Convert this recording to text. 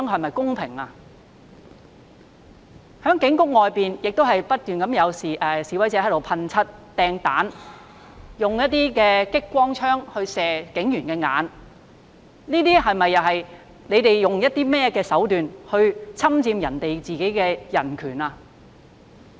在警察總部外面不斷有示威者噴漆、擲雞蛋、用激光照射警員的眼睛，他們用甚麼手段來侵犯別人的人權呢？